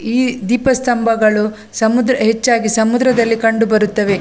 ಈ ದೀಪ ಸ್ತಂಭಗಳು ಸಮುದ್ರ ಹೆಚ್ಚಾಗಿ ಸಮುದ್ರದಲ್ಲಿ ಕಂಡುಬರುತ್ತವೆ .